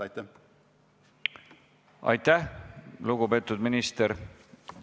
Aitäh, lugupeetud minister!